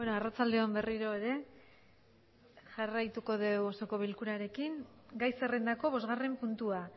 arratsalde on berriro ere jarraituko dugu osoko bilkurarekin gai zerrendako bosgarren puntua